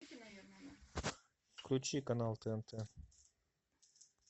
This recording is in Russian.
включи канал тнт